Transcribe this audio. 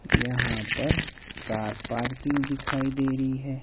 यहां पर car parking दिखाई दे रही है।